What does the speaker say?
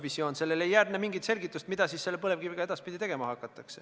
Kui siin kuulata seda kriitikat, siis ei ole arusaadav, mis on visioon või kus on visioon.